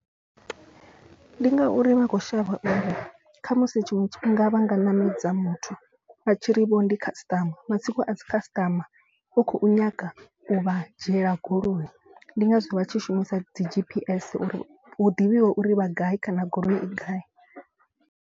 Ndi ngauri vha kho shavha uri khamusi tshiṅwe tshifhinga vha nga ṋamedza muthu vha tshi ri vho ndi customer matsiko a si customer. Vha khou nyaga u vha dzhiela goloi ndi ngazwo vha tshi shumisa dzi G_P_S uri hu ḓivhiwe uri vha gai kana goloi i gai.